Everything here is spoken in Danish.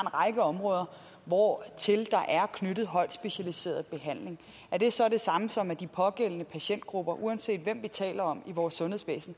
række områder hvortil der er knyttet højt specialiseret behandling er det så det samme som at de pågældende patientgrupper uanset hvem vi taler om i vores sundhedsvæsen